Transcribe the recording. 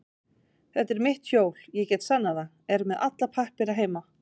Þetta er mitt hjól, ég get sannað það, er með alla pappíra heima.